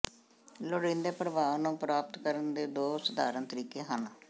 ਲੋੜੀਦੇ ਪ੍ਰਭਾਵ ਨੂੰ ਪ੍ਰਾਪਤ ਕਰਨ ਦੇ ਦੋ ਸਧਾਰਨ ਤਰੀਕੇ ਹਨ